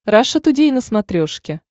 раша тудей на смотрешке